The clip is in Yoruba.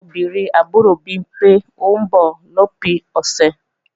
Ọmọbìnrin àbúrò Bimpé ń bọ̀ lòpin ọ̀sẹ̀